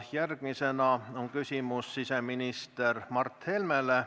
Järgmisena on küsimus siseminister Mart Helmele.